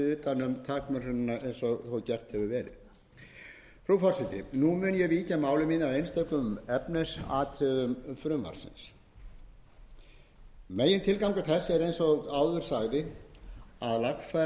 ekki verið gert frú forseti nú mun ég víkja máli mínu að einstökum efnisatriðum frumvarpsins megintilgangur þess er eins og áður sagði að lagfæra ýmsa